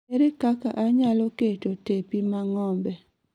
Ere kaka anyalo keto tepi ma ng'ombe